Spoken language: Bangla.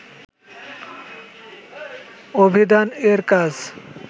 অভিধান এর কাজ